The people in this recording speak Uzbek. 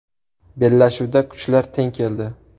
Bellashuvda kuchlar teng keldi.